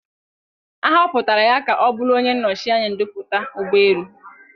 A họpụtara ya ka ọ bụrụ onye nnọchi anya ndoputa ụgbọ elu.